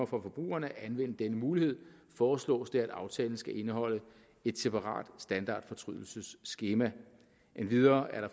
forbrugeren at anvende denne mulighed foreslås det at aftalen skal indeholde et separat standardfortrydelsesskema endvidere er der